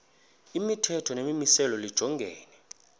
imithetho nemimiselo lijongene